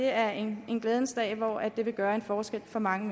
er en glædens dag hvor det vil gøre en forskel for mange